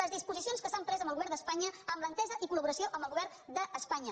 les disposicions que s’han pres amb el govern d’espanya amb l’entesa i col·govern d’espanya